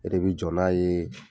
E de bi jɔ n'a ye